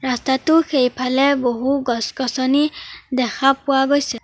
ৰাস্তাটোৰ সেইফালে বহু গছ-গছনি দেখা পোৱা গৈছে।